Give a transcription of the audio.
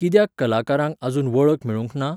कित्याक कलाकारांक आजून वळख मेळूंक ना?